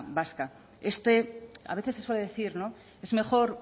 vasca este a veces se suele decir no es mejor